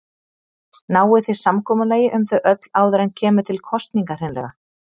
Náið þið samkomulagi um þau öll áður en kemur til kosninga hreinlega?